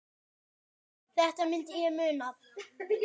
Þetta myndi ég muna!